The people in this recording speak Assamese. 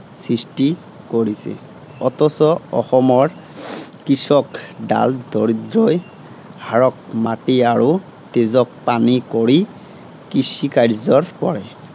সৃষ্টি কৰিছে। অথচ অসমৰ কৃষক ডাল দৰিদ্ৰই, হাড়ক মাটি আৰু তেজক পানী কৰি কৃষিকাৰ্যৰ কৰে।